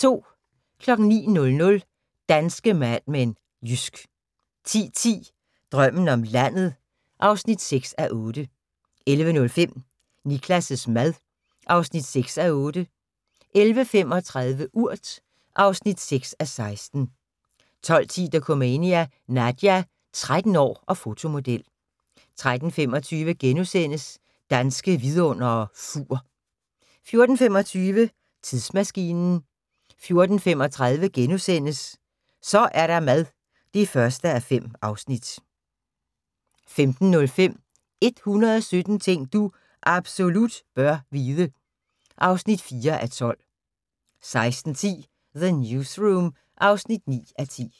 09:00: Danske Mad Men: Jysk 10:10: Drømmen om landet (6:8) 11:05: Niklas' mad (6:8) 11:35: Urt (6:16) 12:10: Dokumania: Nadja – 13 år og fotomodel 13:25: Danske Vidundere: Fur * 14:25: Tidsmaskinen 14:35: Så er der mad (1:5)* 15:05: 117 ting du absolut bør vide (4:12) 16:10: The Newsroom (9:10)